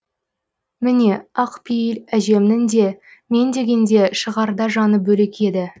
міне ақ пейіл әжемнің де мен дегенде шығарда жаны бөлек еді